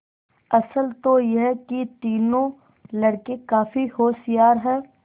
असल तो यह कि तीनों लड़के काफी होशियार हैं